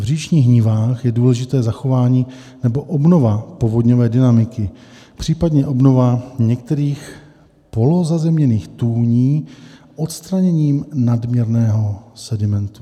V říčních nivách je důležité zachování nebo obnova povodňové dynamiky, případně obnova některých polozazemněných tůní odstraněním nadměrného sedimentu.